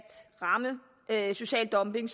ramme social dumping